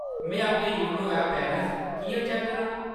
में अपना YONO app balance किʼयां चैक्क करां ?